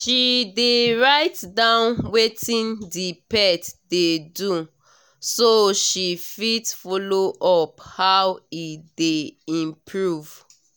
she dey write down wetin the pet dey do so she fit follow up how e dey improve